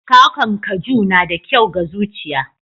kwakwan kaju na da kyau ga zuciya.